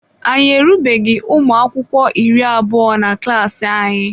Anyị erubeghị ụmụakwụkwọ iri abụọ na klaasị anyị.